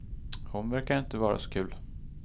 Hon verkar inte vara så kul.